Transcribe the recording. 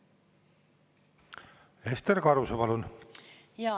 Ester Karuse, palun!